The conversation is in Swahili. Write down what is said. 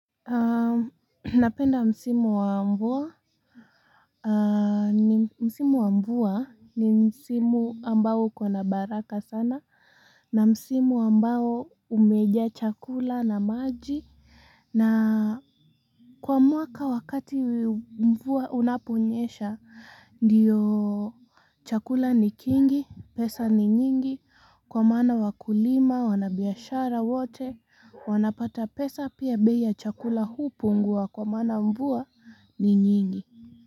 Napenda msimu wa mvua, ni msimu wa mvua ni msimu ambao uko na baraka sana na msimu ambao umejaa chakula na maji na, kwa mwaka wakati mvua unaponyesha, ndiyo chakula ni kingi, pesa ni nyingi, kwa maana wakulima, wanabiashara wote, wanapata pesa pia bei chakula hupungua kwa maana mvua ni nyingi.